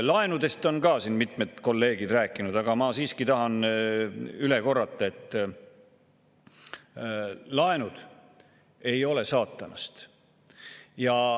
Laenudest on ka siin mitmed kolleegid rääkinud, aga ma siiski tahan üle korrata, et laenud ei ole saatanast.